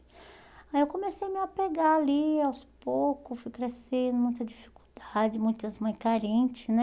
Aí eu comecei a me apegar ali aos poucos, fui crescendo, muita dificuldade, muitas mães carentes, né?